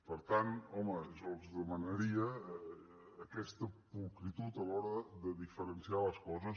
per tant home jo els demanaria aquesta pulcritud a l’hora de diferenciar les coses